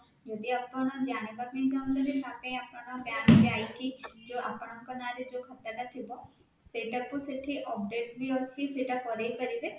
ଯଦି ଆପଣ ଜାଣିବା ପାଇଁ ଚାହୁଁଛନ୍ତି ତାହାଲେ ଆପଣ bank ଯାଇକି ଯୋଉ ଆପଣଙ୍କ ନାଁ ରେ ଯୋଉ ଖାତା ଟା ଥିବ ସେଇଟା କୁ ସେଇଠି update ବି ଅଛି ସେଇଟା କରେଇପାରିବେ